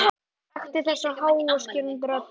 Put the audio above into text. Þekkti þessa háu og skerandi rödd.